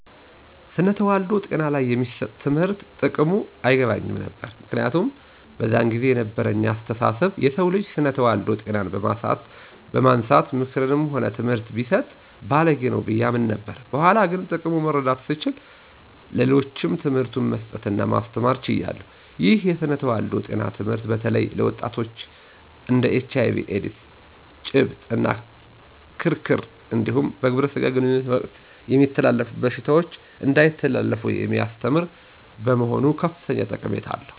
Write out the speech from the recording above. ስነ ተዋልዶ ጤና ላይ የሚሰጥ ትምህርት ጥቅሙ አይገባኝም ነበር። ምክንያቱም በዛን ጊዜ የነበረኝ አስተሳሰብ የሰው ልጅ ስነ ተዋልዶ ጤናን በማንሳት ምክርም ሆነ ትምህርት ሲሰጥ ባልጌ ነው ብዬ አምን ነበር። በኋላ ግን ጥቅሙ መረዳት ስችል ለሌሎችም ትምህርቱን መስጠት እና ማስተማር ችያለሁ። ይህ የስነ ተዋልዶ ጤና ትምህርት በተለይም ለወጣቶች እንድ ኤች አይ ቪ ኤዲስ፤ ጨብጥ እና ክርክር እንዲሁም በግብረ ስጋ ግንኙነት ወቅት የሚተላለፉ በሽታዎች እንዳይተላለፉ የሚያስተምር በመሆኑ ከፍተኛ ጠቀሜታ አለው።